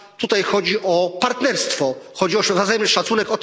Tutaj chodzi o partnerstwo i o wzajemny szacunek.